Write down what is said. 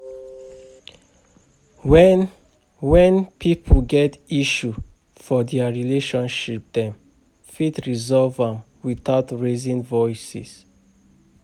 When When pipo get issue for their relationship dem fit resolve am without raising voice